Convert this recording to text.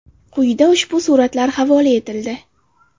Quyida ushbu suratlar havola etildi.